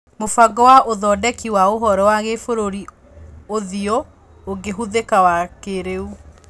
Mũbango wa ũthondeki wa ũhoro wa Gĩbũrũri, ũthiũ ũngĩhũthĩka wa kĩrĩũ.